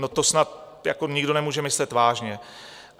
No, to snad nikdo nemůže myslet vážně.